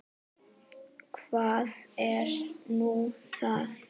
Hvað er nú það?